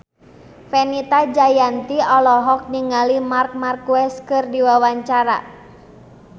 Fenita Jayanti olohok ningali Marc Marquez keur diwawancara